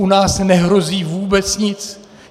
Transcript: U nás nehrozí vůbec nic.